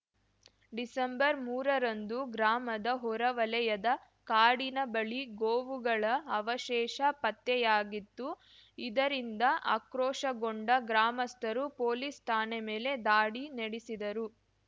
ಡಿಸೆಂಬರ್ಮೂರರಂದು ಗ್ರಾಮದ ಹೊರವಲಯದ ಕಾಡಿನ ಬಳಿ ಗೋವುಗಳ ಅವಶೇಷ ಪತ್ತೆಯಾಗಿತ್ತು ಇದರಿಂದ ಆಕ್ರೋಶಗೊಂಡ ಗ್ರಾಮಸ್ಥರು ಪೊಲೀಸ್‌ ಠಾಣೆ ಮೇಲೆ ದಾಳಿ ನೆಡಿಸಿದರು